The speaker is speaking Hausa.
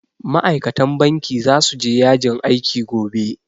Ma'aikatan banki zasu je yajin aiki gobe